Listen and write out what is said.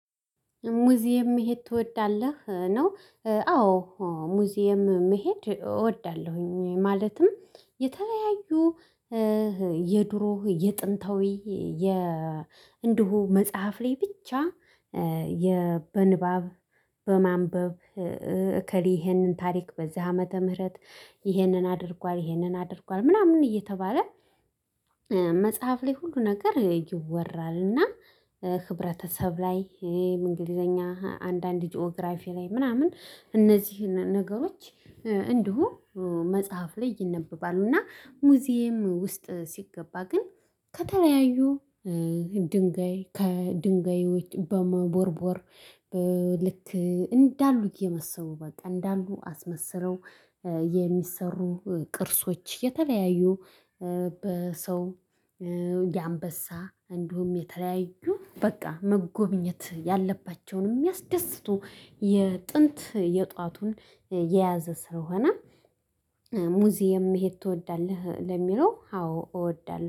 ሙዚየም መሄድ ትወዳለህ ነው? አዎ ሙዚየም መሄድ እወዳለሁኝ። ማለትም የተለያዩ የድሮ የጥንታዊ የ እንደሆ መጽሐፍ ላይ ብቻ በንባብ በማንበብ እከሌ ይህንን ታሪክ በዚህ ዓመተ ምህረት ይህንን አድርጓል ይህንን አድርጓል ምናምን እየተባለ መጽሐፍ ላይ ሁሉ ነገር ይወራል። እና ህብረተሰብ ላይ እንግሊዘኛ አንዳንድ ጂኦግራፊ ላይ ምናምን እነዚህን ነገሮች እንዲሁ መጽሐፍ ላይ ይነበባሉ። እና ሙዚየም ውስጥ ሲገባ ግን ከተለያዩ ድንጋይ ከድንጋዮች በመቦርቦር ልክ እንዳሉት የመሰቡ በቃ እንዳሉ አስመስለው የሚሰሩ ቅርሶች የተለያዩ በሰው የአንበሳ እንዲሁም የተለያዩ በቃ መጎብኘት ያለባቸውን የሚያስደስቱ የጥንት የጧቱን የያዘ ስለሆነ። ሙዚየም መሄድ ትወዳለህ? ለሚለው አዎ እወዳለሁ